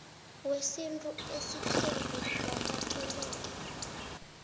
wesintu osithembu wamukeleke